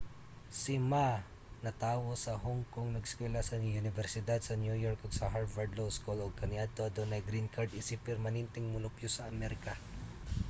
si ma natawo sa hong kong nag-eskuwela sa unibersidad sa new york ug sa harvard law school ug kaniadto adunay green card isip permanenteng molupyo sa amerika